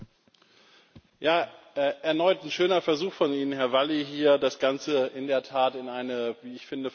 Erneut ein schöner Versuch von Ihnen, Herr Valli, hier das Ganze in der Tat in eine wie ich finde falsche Richtung zu politisieren.